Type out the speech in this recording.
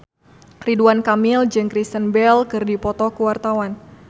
Ridwan Kamil jeung Kristen Bell keur dipoto ku wartawan